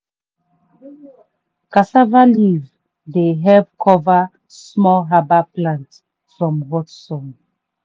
cassava leaf dey help cover small herbal plant from hot sun.